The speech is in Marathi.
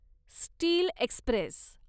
steel Express